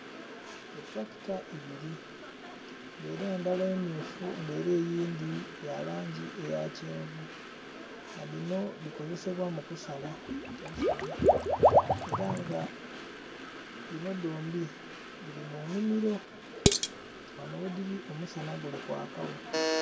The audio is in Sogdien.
Etulakita ibiri nga era endhala emmyufu nga era eyindhi yalangi eyakyenvu nga dhino dhikozesebwa mukusala eisubi era nga dhino dhombi dhirimunimiro, ghanho ghedhiri omusana gulikwakagho.